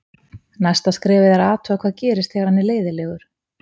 Næsta skrefið er að athuga hvað gerist þegar hann er leiðinlegur.